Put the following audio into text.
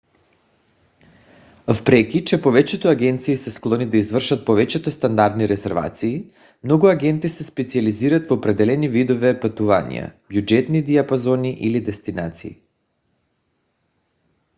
въпреки че повечето агенции са склонни да извършват повечето стандартни резервации много агенти се специализират в определени видове пътувания бюджетни диапазони или дестинации